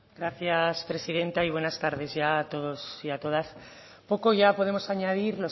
gracias presidenta y buenas tardes ya a todos y a todas poco ya podemos añadir